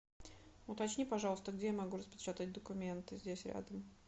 уточни пожалуйста где я могу распечатать документы здесь рядом